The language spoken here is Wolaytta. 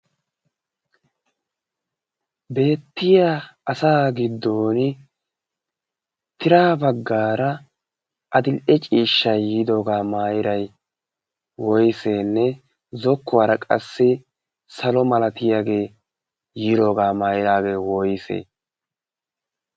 beettiya asa giddon tira baggaara adil'e ciishsha yiidoogaa maairay woiseenne zokkuwaara qassi salo malatiyaagee yiidoogaa maairaagee woysee?